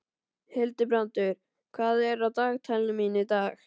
Hildibrandur, hvað er á dagatalinu mínu í dag?